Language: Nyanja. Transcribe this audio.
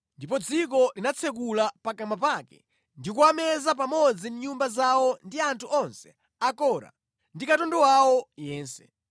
ndipo dziko linatsekula pakamwa pake ndi kuwameza pamodzi ndi nyumba zawo ndi anthu onse a Kora ndi katundu wawo yense.